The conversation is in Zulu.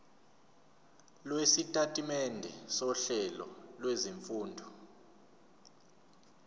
lwesitatimende sohlelo lwezifundo